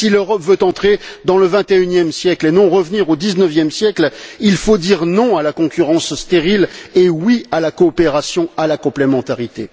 Si l'Europe veut entrer dans le vingt et unième siècle et non revenir au dix neuvième siècle, il faut dire non à la concurrence stérile et oui à la coopération, à la complémentarité.